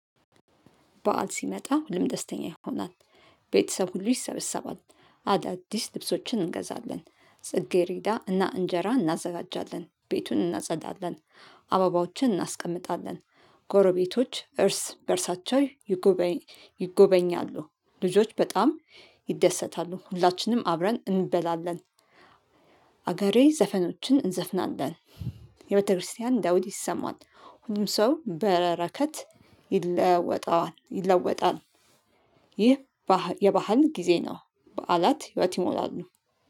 በዓል ሲመጣ ሁሉም ደስተኛ ይሆናል። ቤተሰብ ሁሉ ይሰበሰባል። አዳዲስ ልብሶችን እንገዛለን ጽጌሬዳ እና እንጀራ እናዘጋጃለን ቤቱን እናጸዳለን። አበባዎችን እናስቀምጣለን። ጎረቤቶች እርስ በእርሳቸው ይጎበኝ ይጎበኛሉ። ልጆች በጣም ይደሰታሉ ሁላችንም አብረን እንበላለን። ሀገሪኛ ዘፈኖችን እንዘፍናለን። የቤተክርስቲያን ዳዊት ይሰማል ሁሉም ሰው በረከት ይለወጣዋል ይለወጣል። ይህ የባህል ጊዜ ነው። በዓላት ህይወት ይሞላሉ